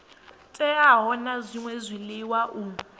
teaho na zwṅwe zwiḽiwa u